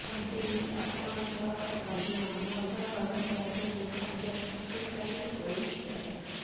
ଯଦି ଆପଣଙ୍କ ଲଗ୍ନ ଭଲ ରହିଥାଏ ତେବେ ଭାଗ୍ୟ ଶକ୍ତିଶାଳୀ ହୋଇଯାଏ